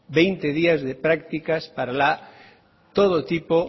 veinte días de prácticas para todo tipo